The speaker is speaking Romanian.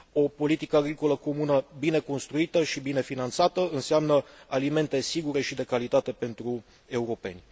O politică agricolă comună bine construită și bine finanțată înseamnă alimente sigure și de calitate pentru europeni.